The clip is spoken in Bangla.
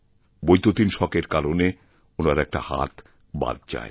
বৈদ্যুতিক শকের কারণে ওনার একটা হাত বাদ যায়